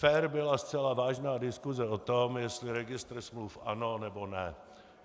Fér byla zcela vážná diskuse o tom, jestli registr smluv ano, nebo ne.